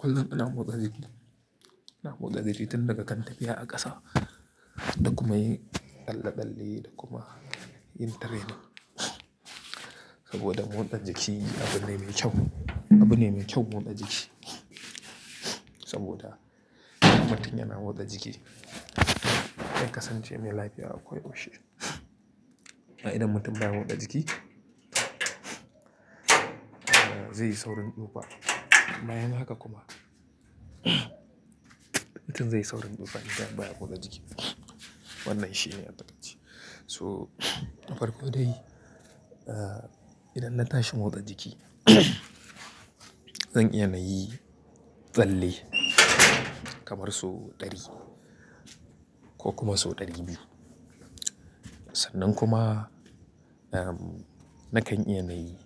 Kullum ina motsa jiki. Ina motsa jiki tun daga kan tafiya a ƙasa, da kuma yin tsalle-tsalle da kuma yin training. Saboda motsa jiki abu ne mai kyau. Abu ne mai kyau motsa jiki. Saboda mutum yana motsa jiki, in kasance mai lafiya akwai ƙoshi. A idon mutum da ya motsa jiki, zai yi saurin ɗuba. Bayan haka kuma, mutum zai yi saurin ɗuba idan baya motsa jiki. Wannan shi ne mataki. So farko dai, idan na tashi motsa jiki, zan iya na yi tsalle kamar sau ɗari ko kuma sau ɗari biyu. Sannan kuma, nakan iya na yi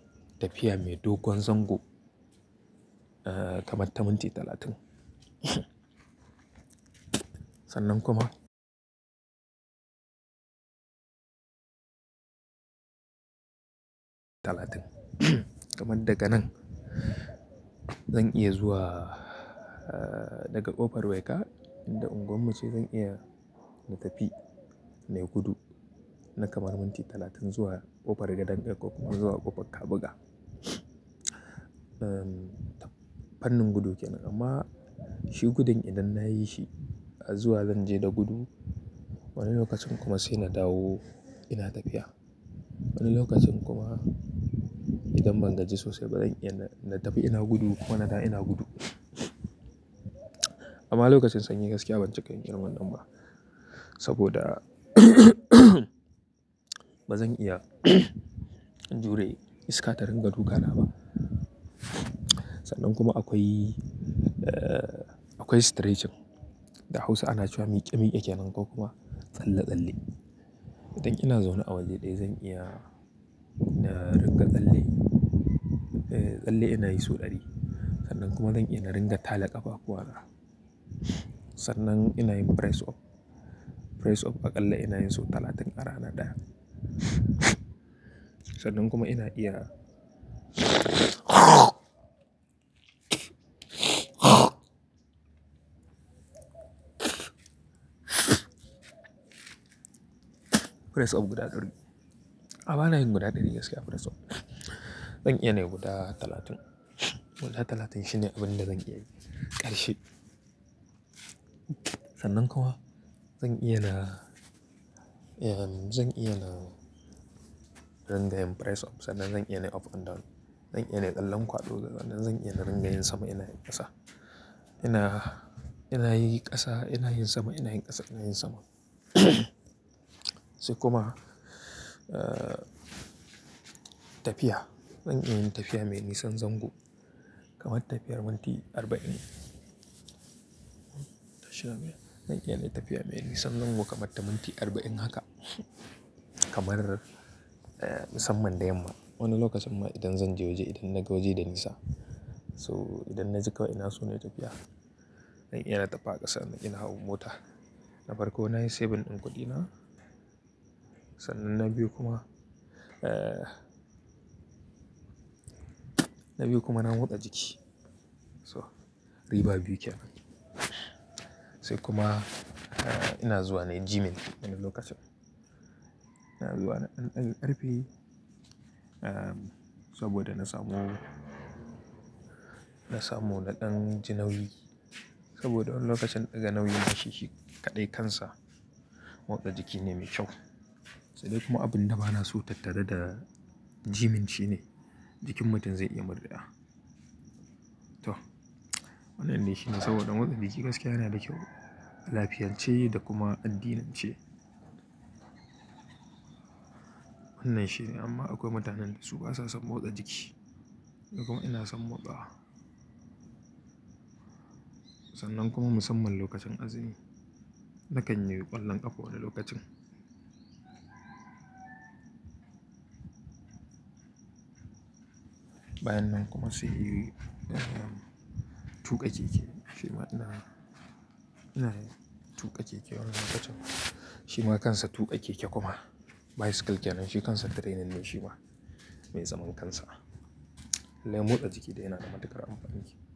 tafiya mai dogon zango kamar ta minti talatin. Sannan kuma talatin Kamar daga nan, zan iya zuwa daga ƙofar Weka inda unguwarmu ce zan iya na tafi mai gudu na kamar minti talatin zuwa ƙofar Gadon da kuma zuwa ƙofar Kabuga. Fannin gudu kenan amma shi gudun idan na yi shi, a zuwa zan je da gudu, wani lokacin kuma sai na dawo ina tafiya. Wani lokacin kuma idan ban gaji sosai ba zan iya na tafi ina gudu kuma na da ina gudu. Amma lokacin sanyi gaskiya ban cika yin wannan ba saboda ba zan iya in jure iska ta ringa duka na ba. Sannan kuma akwai, akwai stretching da Hausa ana cewa miƙe-miƙe kenan ko kuma tsalle-tsalle. Idan ina zaune a waje ɗaya zan iya na ringa tsalle, tsalle ina yi sau ɗari. Sannan kuma zan iya na ringa tale ƙafakuwa na. Sannan ina yin press up. Press up a tsalle ina yin sau talatin ƙara ina ɗaya. Sannan kuma ina iya press up guda ɗari. A'a bana yin guda ɗari gaskiya press up. Zan iya na yi guda talatin. Guda talatin shine abin da zan iya yi ƙarshe. Sannan kuwa zan iya na, zan iya na ringa yin press up sannan zan iya na yi up and down. Zan iya na yi tsalle kwado daga nan zan iya na ringa yin sama ina yin ƙasa. Ina, ina yi ƙasa ina yin sama ina yin ƙasa ina yin sama. Sai kuma tafiya. Zan iya tafiya mai nisan zango kamar tafiyar minti arba'in. Zan iya na yi tafiya mai nisan zango kamar ta minti arba'in haka kamar musamman da yamma. Wani lokacin ma idan zan je waje idan na gaje da nisa. So idan na jika ina so nayi tafiya. Zan iya na taɓa ƙasa ina hau mota. Na farko na yi saving ɗin kuɗina. Sannan na biyu kuma, na biyu kuma na motsa jiki. So riba biyu kenan. Sai kuma ina zuwa nayi gyming wani lokacin. iNa zuwa wa nadan daga karfe saboda na samu, na samu naɗin janauyi saboda wani lokacin ɗaga nauyi ma shi shi kaɗai kansa motsa jiki ne mai kyau. Sai dai kuma abin da bana so tattare da gyming shine jikin mutum zai iya murdewa. To wannan shine saboda motsa jiki gaskiya yana da kyau lafiyance da kuma addinance. Wannan shine amma akwai mutanen da su basa son motsa jiki. Ni kuma ina son motsa. Sannan kuma musamman lokacin azumi, na kan yi ƙwallon ƙafa wani lokacin. Bayan nan kuma sai in yi tuka keke kenan. Shima ina, ina yin tuka keke wani lokacin. Tuka keke kuma bicycle kenan. Shi kansa training ne shima mai zaman kansa. Na motsa jiki yana da matuƙar amfani.